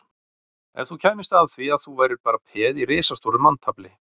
Ef þú kæmist að því að þú værir bara peð í risastóru manntafli